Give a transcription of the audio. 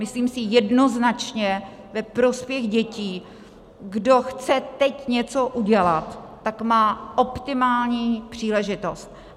Myslím si, jednoznačně ve prospěch dětí kdo chce teď něco udělat, tak má optimální příležitost.